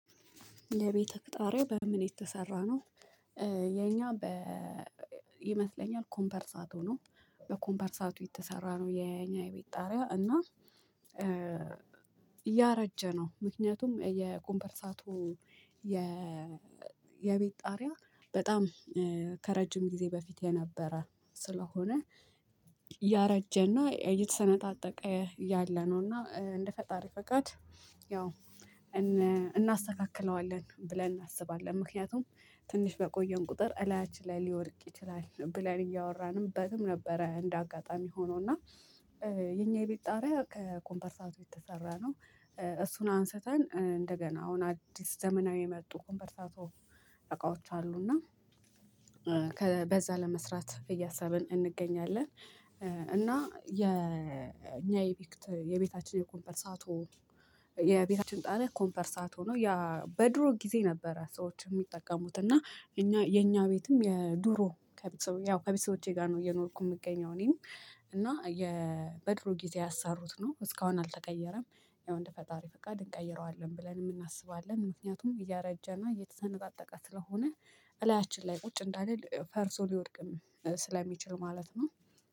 የቤትክ ጣሪያ በምን የተሰራ ነው? የኛ በ ይመስለኛል ኮምፐርሳቶ ነው። በኮምፐርሳቱ የተሰራ ነው የእኛ የቤት ጣሪያ እና ያረጀ ነው። ምክንያቱም የኮምፐርሳቱ የቤት ጣሪያ በጣም ከረጅም ጊዜ በፊት የነበረ ስለሆነ። ያረጀና እየተሰነጣጠቀ ያለ ነው እና እንደ ፈጣሪ ፈቃድ። ያው እናስተካክለዋለን ብለን እናስባለን። ምክንያቱም ትንሽ በቆየን ቁጥር እላችን ላይ ሊወድቅ ይችላል ብለን እያወራንበትም ነበረ። እንደ አጋጣሚ ሆኖ እና የኛ የቤት ጣሪያ ከኮምፐርሳቱ የተሰራ ነው። እሱን አንስተን እንደገና አሁን አዲስ ዘመናዊ የመጡ ኮንቨርሳቶ እቃዎች አሉ እና በዛ ለመስራት እያሳብን እንገኛለን። እና የኛ የቤታችን የኮምፐርሳቶ የቤታችን ጣሪያ ኮምፐርሳቶ ነው። ያ በድሮ ጊዜ ነበረ ሰዎች የሚጠቀሙት እና የኛ ቤትም የድሮ ከቢሶ ያው ከቢሶቼ ጋር ነው የኖርኩት። የምገኘው እኔም እና የበድሩ ጊዜ ያሳሩት ነው እስካሁን አልተቀየረም። ያው እንደ ፈጣሪ ፈቃድ እንቀይረዋለን ብለንም እናስባለን። ምክንያቱም እያረጀና እየተሰነጣጠቀ ስለሆነ እላያችን ላይ ቁጭ እንዳልን ፈርሶ ሊወድቅም ስለሚችል ማለት ነው።